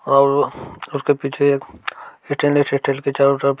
और उसके पीछे एक स्टेनलेस स्टील की चारो तरफ --